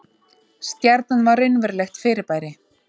Stjarnan var raunverulegt fyrirbæri.